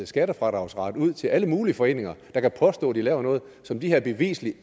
skattefradragsret ud til alle mulige foreninger der kan påstå at de laver noget som de her beviseligt